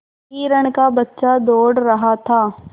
हिरण का बच्चा दौड़ रहा था